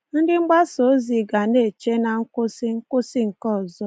Ndị mgbasa ozi ga na-eche na nkwụsị nkwụsị nke ọzọ.